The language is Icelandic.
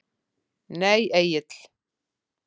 Nei Egill.